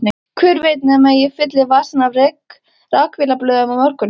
Hver veit nema ég fylli vasana af rakvélablöðum á morgun.